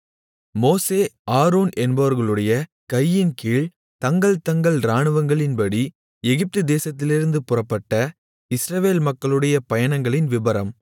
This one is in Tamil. மோசே ஆரோன் என்பவர்களுடைய கையின்கீழ்த் தங்கள்தங்கள் இராணுவங்களின்படி எகிப்துதேசத்திலிருந்து புறப்பட்ட இஸ்ரவேல் மக்களுடைய பயணங்களின் விபரம்